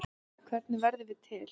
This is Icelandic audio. Hvernig verðum við til?